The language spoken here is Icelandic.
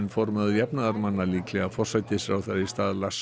formaður jafnaðarmanna líklega forsætisráðherra í stað Lars